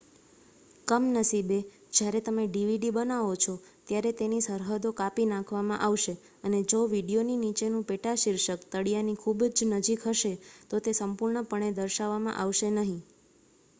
કમનસીબે જ્યારે તમે ડીવીડી બનાવો છો ત્યારે તેની સરહદો કાપી નાખવામાં આવશે અને જો વીડિયોની નીચેનું પેટાશીર્ષક ો તળીયાની ખૂબ નજીક હશે તો તે સંપૂર્ણપણે દર્શાવવામાં આવશે નહીં